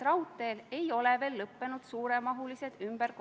Ruuben Kaalep, palun!